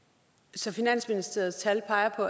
som finansministeriets tal peger på